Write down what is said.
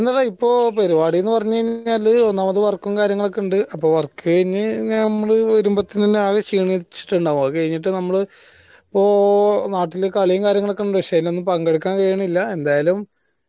ഒന്നില്ലടാ ഇപ്പൊ പരുവാടി എന്ന് പറഞ്ഞ് കഴിഞ്ഞാൽ ഒന്നാമത് work കാര്യങ്ങളുമൊക്കെയുണ്ട് അപ്പൊ work കഴിഞ്ഞ് ഞമ്മൾ വരമ്പത്തെതന്നേ ക്ഷീണിച്ചിട്ട് ഇണ്ടാവ അത് കഴിഞ്ഞട്ട് ഞമ്മൾ ഇപ്പോ നാട്ടിൽ കളിയും കാര്യങ്ങളുമൊക്കെ ഇണ്ട് പക്ഷെ അയിനൊന്നും പങ്കെടുക്കാൻ കഴിയുന്നില്ല എന്തായാലും